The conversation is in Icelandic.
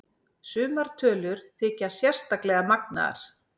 Sumar tölur þykja sérstaklega magnaðar.